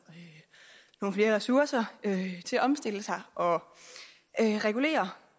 nogle flere ressourcer til at omstille sig og regulere